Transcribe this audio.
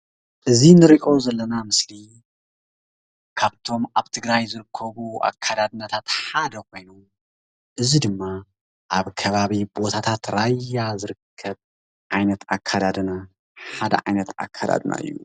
እዚ እንሪኦ ዘለና ምስሊ ካብቶም አብ ትግራይ ዝርከቡ አከዳድናታት ሓደ ኮይኑ፤ እዚ ድማ አብ ከባቢ ቦታታት ራያ ዝርከብ ዓይነት አከዳድና ሓደ ዓይነት አከዳድና እዩ፡፡